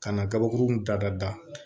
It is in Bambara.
Ka na gabakuru da da da